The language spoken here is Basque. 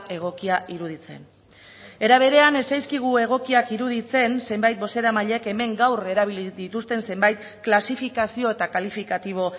egokia iruditzen era berean ez zaizkigu egokiak iruditzen zenbait bozeramailek hemen gaur erabili dituzten zenbait klasifikazio eta kalifikatibo